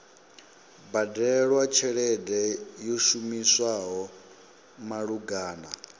badelwa tshelede yo shumiswaho malugana